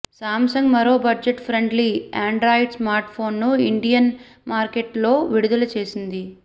Samsung మరో budget friendly Android స్మార్ట్ఫోన్ను Indian మార్కెట్లో విడుదల చేసింది